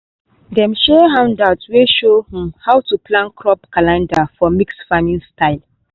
dem share handout wey show um how to plan crop calendar for mixed farming style.